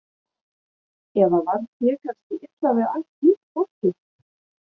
Eða var þér kannski illa við allt hitt fólkið.